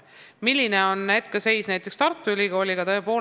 Milline on hetkeseis näiteks Tartu Ülikooliga?